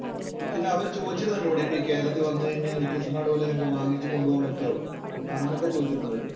പിന്നെ അവര് ചോദിച്ചത് എന്താണെന്നറിയുവോ കേരളത്തില്‍ വന്നു കഴിഞ്ഞാല്‍ വാങ്ങിച്ചു കൊണ്ടുപോകാന്‍ പറ്റുവോ? അങ്ങനൊക്കെ ചോദിച്ചിരുന്നു അവര്.